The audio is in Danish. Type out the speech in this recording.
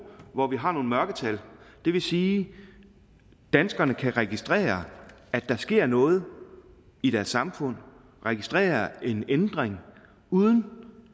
hvor vi har nogle mørketal og det vil sige at danskerne kan registrere at der sker noget i deres samfund og registrere en ændring uden